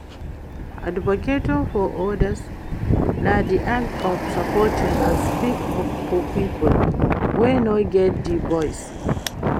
Advocating for odas na di act of supporting and speak up for people wey no get di voice.